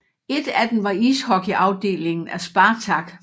Et af dem var ishockeyafdelingen af Spartak